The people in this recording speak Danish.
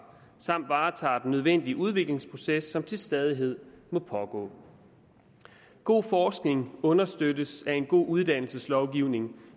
samt varetager den nødvendige udviklingsproces som til stadighed må pågå god forskning understøttes af en god uddannelseslovgivning